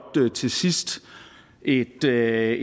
til sidst et tal